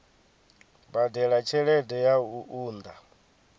badela tshelede ya u unḓa